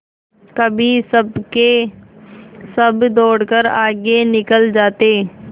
कभी सबके सब दौड़कर आगे निकल जाते